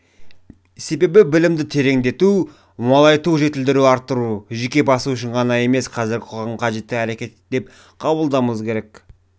себебі білімді тереңдету молайту жетілдіру арттыру жеке басы үшін ғана емес қазіргі қоғамға қажет әрекет деп қабылдауымыз керек